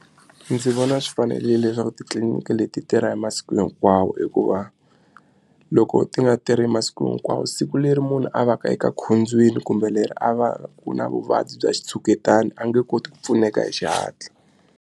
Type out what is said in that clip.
Ndzi vona swi fanerile leswaku titliliniki leti tirha hi masiku hinkwawo hikuva loko ti nga tirhi masiku hinkwawo siku leri munhu a va ka eka khombyeni kumbe leri a va ku na vuvabyi bya xitshuketano a nge koti ku pfuneka hi xihatla.